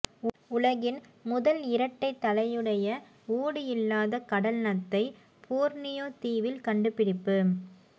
உலகின் முதல் இரட்டை தலையுடைய ஓடு இல்லாத கடல் நத்தை போர்னியோ தீவில் கண்டுபிடிப்பு